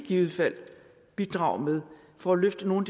i givet fald kan bidrages med for at løfte nogle